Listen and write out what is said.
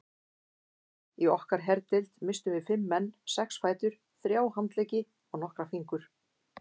Í okkar herdeild misstum við fimm menn, sex fætur, þrjá handleggi og nokkra fingur.